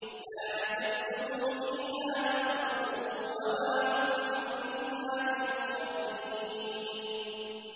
لَا يَمَسُّهُمْ فِيهَا نَصَبٌ وَمَا هُم مِّنْهَا بِمُخْرَجِينَ